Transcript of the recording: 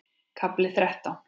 KAFLI ÞRETTÁN